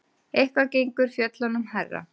Eitthvað gengur fjöllunum hærra